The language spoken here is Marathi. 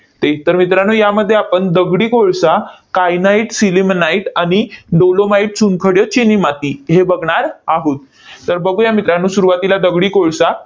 तर इथं मित्रांनो, यामध्ये आपण दगडी कोळसा, kyanite sillimanite आणि dolomite, चुनखडी, चिनीमाती हे बघणार आहोत. तर बघूया मित्रांनो, सुरुवातीला दगडी कोळसा